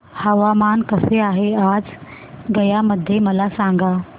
हवामान कसे आहे आज गया मध्ये मला सांगा